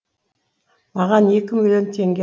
маған екі миллион теңге